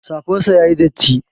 Safar sa yayi datti